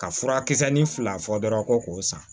Ka furakisɛ ni fila fɔ dɔrɔn ko k'o san